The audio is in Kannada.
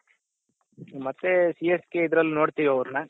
ಮತ್ತೆ CSKಇದ್ರಲ್ಲಿ ನೋಡ್ತಿವಿ ಅವ್ರುನ್ನ